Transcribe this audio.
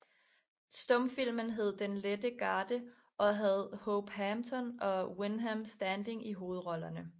Stumfilmen hed Den lette Garde og havde Hope Hampton og Wyndham Standing i hovedrollerne